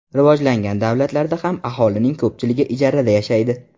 Rivojlangan davlatlarda ham aholining ko‘pchiligi ijarada yashaydi.